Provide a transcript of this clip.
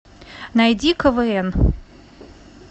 найди квн